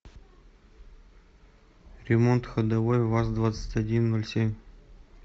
ремонт ходовой ваз двадцать один ноль семь